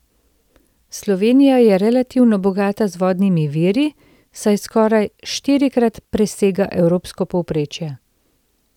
Slovenija je relativno bogata z vodnimi viri, saj skoraj štirikrat presega evropsko povprečje.